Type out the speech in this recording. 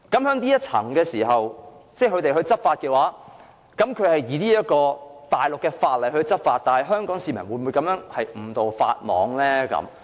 那麼，若容許內地當局在內地口岸區按內地法律執法，香港市民會否因而誤墮法網？